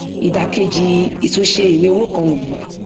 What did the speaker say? ìdà kejì ìtúnṣe ìwé owó kan nìyí